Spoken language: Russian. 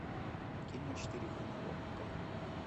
кино четыре ка на окко